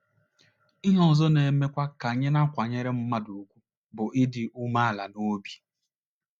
Ihe ọzọ na - emekwa ka a na - akwanyere mmadụ ùgwù bụ ịdị umeala n’obi.